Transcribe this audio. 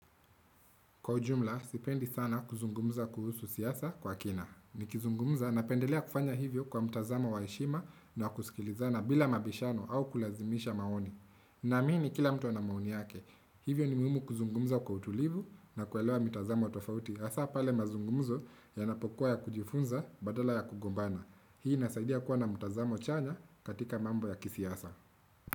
Kwa ujumla, sipendi sana kuzungumza kuhusu siyasa kwa kina. Ni kizungumza na pendelia kufanya hivyo kwa mutazama wa heshima na kusikilizana bila mabishano au kulazimisha maoni. Namini ni kila mtu na maoni yake. Hivyo ni muhimu kuzungumza kwa utulivu na kuwelewa mutazama wa tofauti. Asa pale mazungumzo yanapokuwa ya kujifunza badala ya kugombana. Hii nasaidia kuwa na mutazama wa chanya katika mambo ya kisiyasa.